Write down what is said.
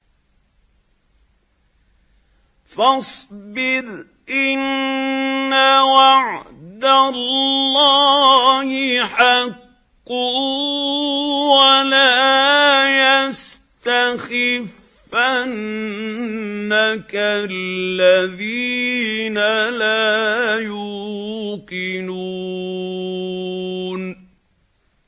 فَاصْبِرْ إِنَّ وَعْدَ اللَّهِ حَقٌّ ۖ وَلَا يَسْتَخِفَّنَّكَ الَّذِينَ لَا يُوقِنُونَ